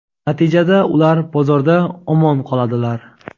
natijada ular bozorda omon qoladilar.